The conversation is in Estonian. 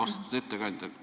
Austatud ettekandja!